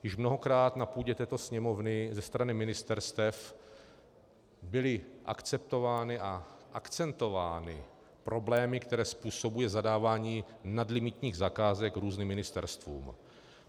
Už mnohokrát na půdě této Sněmovny ze strany ministerstev byly akceptovány a akcentovány problémy, které způsobuje zadávání nadlimitních zakázek různým ministerstvům.